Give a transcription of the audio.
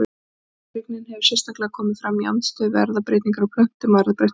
Tortryggnin hefur sérstaklega komið fram í andstöðu við erfðabreytingar á plöntum og erfðabreytt matvæli.